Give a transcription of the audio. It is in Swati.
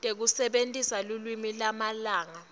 tekusebentisa lulwimi lwamalanga